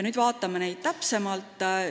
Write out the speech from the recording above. Vaatame nüüd täpsemalt.